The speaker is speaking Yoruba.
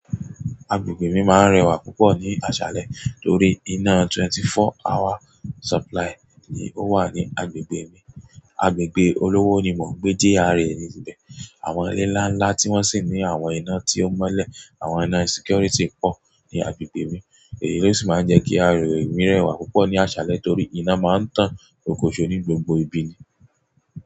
Agbègbè mi máa ń rẹwà púpọ̀ ní àṣálẹ́ torí iná twenty-four hour supply ni ó wà ní agbègbè mi. Agbègbè olówó ni mò ń gbé, GRA ni ìbẹ̀. Àwọn ìlè nlà nlà tì wọn sì nì àwọn ìnà tì ò mọlẹ, àwọn ìnà security pọr nì àgbèègbè mì. Èyí ló sì máa ń jẹ́ kí àgbègbè mi rẹwà púpọ̀ ní àṣálẹ́ torí iná máa ń tàn okoòṣò ní gbogbo ibi ni.